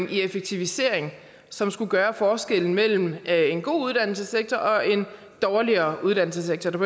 i effektivisering som skulle gøre forskellen mellem en god uddannelsessektor og en dårligere uddannelsessektor der